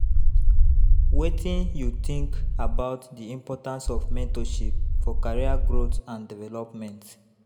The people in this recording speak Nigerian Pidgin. Wetin you think about di importance of mentorship for career growth and development?